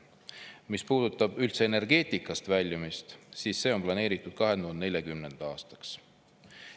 Mis puudutab üldse energeetikast väljumist, siis see on planeeritud 2040. aastaks.